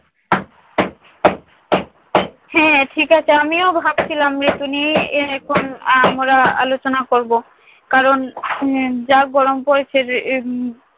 হ্যাঁ ঠিক আছে, আমিও ভাবছিলাম ঋতু নিয়ে এখন আমরা আলোচনা করবো। কারণ উম যা গরম পড়েছে উম